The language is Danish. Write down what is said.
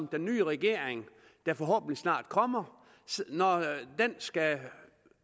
den nye regering der forhåbentlig snart kommer skal